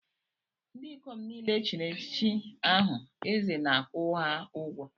Ndị ikom niile echiri echichi aha eze na-akwụ ha ụgwọ.